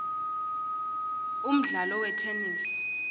umdlalo wetenesi